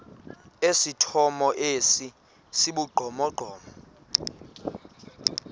esithomo esi sibugqomogqomo